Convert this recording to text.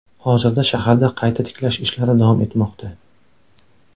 Hozirda shaharda qayta tiklash ishlari davom etmoqda .